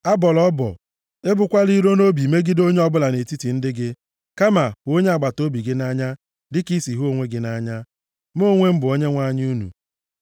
“ ‘Abọla ọbọ, ebukwala iro nʼobi megide onye ọbụla nʼetiti ndị gị. Kama hụ onye agbataobi gị nʼanya dịka i si hụ onwe gị nʼanya. Mụ onwe m bụ Onyenwe anyị unu.